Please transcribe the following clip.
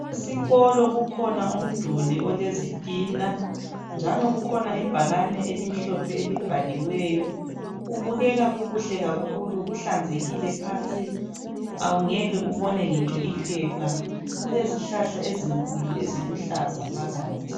Esikolo kukhona umduli olezitina, njalo kukhona ibhakani elimhlophe elibhaliweyo. Kubukeka kukuhle kakhulu kuhlanzekile, kulezihlahla ezinkulu eziluhlaza phakathi.